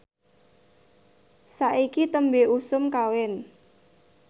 saiki tembe usum kawin